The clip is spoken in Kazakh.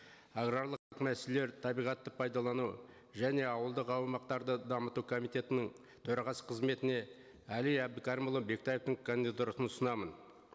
аграрлық мәселелер табиғатты пайдалану және ауылдық аумақтарды дамыту комитетінің төрағасы қызметіне әли әбдікәрімұлы бектаевтің кандидатурасын ұсынамын